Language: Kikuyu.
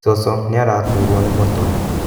Cũcũ nĩaraturo nĩ mũtwe.